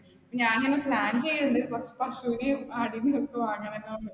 ഞാൻ plan ചെയ്യുന്നുണ്ട്, കുറച്ച് പശുവിനെയും ആടിനെയും ഒക്കെ വാങ്ങമെന്ന്.